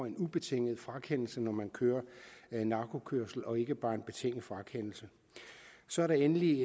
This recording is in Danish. en ubetinget frakendelse når man kører narkokørsel og ikke bare en betinget frakendelse så er der endelig